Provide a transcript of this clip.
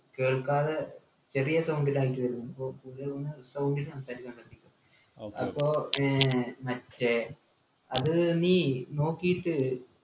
കേൾക്കാതെ ചെറിയ sound ൽ ആയിറ്റ് വരുന്ന അപ്പൊ കൂടുതലൊന്ന് sound ൽ സംസാരിക്കാൻ ശ്രദ്ധിക്ക് അപ്പൊ ഏർ മറ്റേ അത് നീ നോക്കീറ്റ്